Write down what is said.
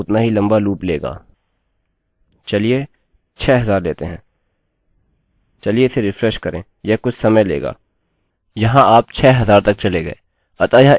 चलिए 6000 लेते हैं चलिए इसे रिफ्रेश करें यह कुछ समय लेगा वहाँ आप 6000 तक चले गए अतः यह इस तरह से काफी प्रभावशाली है